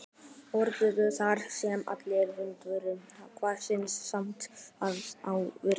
Norðurgötu, þar sem allar vindhviður hverfisins sameinast á vetrardögum.